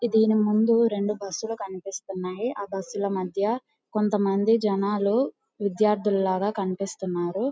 ఈ దేని ముందు రెండు బస్సులు కనిపిస్తున్నాయి ఆ బుస్స్ లు మధ్య కొంత మంది జెనాలు విదేర్దూలాగా కనిపిస్తున్నారు.